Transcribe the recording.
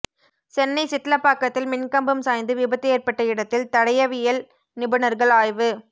சென்னை சிட்லபாக்கத்தில் மின் கம்பம் சாய்ந்து விபத்து ஏற்பட்ட இடத்தில் தடயவியல் நிபுணர்கள் ஆய்வு